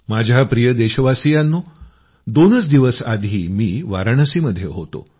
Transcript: माझ्या प्रिय देशवासियांनो दोनच दिवस आधी मी वाराणसीमध्ये होतो